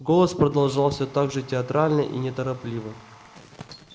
голос продолжал все так же театрально и неторопливо